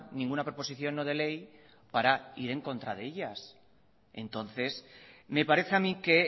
ninguna proposición no de ley para ir en contra de ellas entonces me parece a mí que